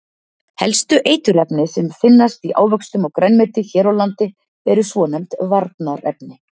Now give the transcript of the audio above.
Helstu eiturefni sem finnast í ávöxtum og grænmeti hér á landi eru svonefnd varnarefni.